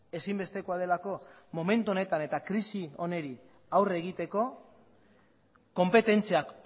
ezinbestekoa delako momentu honetan eta krisi honi aurre egiteko konpetentziak